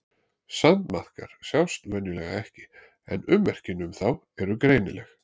Sandmaðkar sjást venjulega ekki en ummerkin um þá eru greinileg.